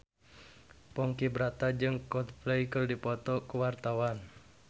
Ponky Brata jeung Coldplay keur dipoto ku wartawan